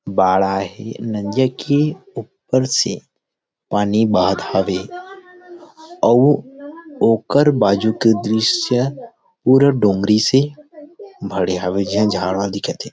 बाड़ आए हे नदिया के ऊपर से पानी बहाथ हावे अऊ आकर बाजू के दृश्य पूरा डोंगरी से भरे हवे अउ झाड़ मन दिखत हे।